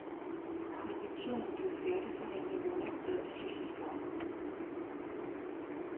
Konventionen blev færdigforhandlet og underskrevet sidste sommer.